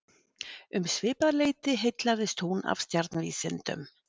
Um svipað leyti heillaðist hún af stjarnvísindum.